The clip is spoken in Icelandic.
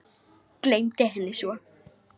Gleymdi henni svo.